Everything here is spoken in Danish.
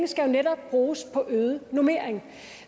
skal jo netop bruges på øget normering